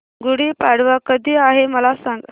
गुढी पाडवा कधी आहे मला सांग